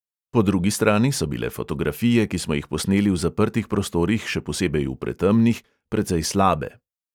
Po drugi strani so bile fotografije, ki smo jih posneli v zaprtih prostorih, še posebej v pretemnih, precej slabe.